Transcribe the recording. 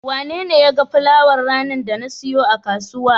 Wanene ya ga fulawar ranar da na siyo a kasuwa?